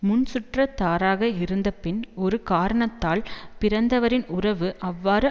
முன் சுற்றத்தாறாக இருந்து பின் ஒரு காரணத்தால் பிரிந்தவரின் உறவு அவ்வாறு